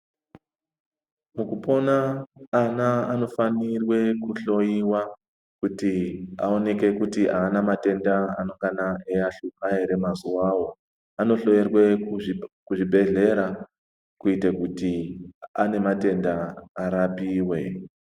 Mukupona ana anofanirwe kuhloyiwa kuti aonekwe kuti aana matenda anengana eiahlupa ere mazuwawo anohloyerwe kuzvibhedhleya kuitire kuti ane matenda arapiwe.